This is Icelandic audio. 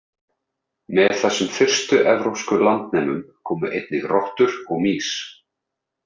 Með þessum fyrstu evrópsku landnemum komu einnig rottur og mýs.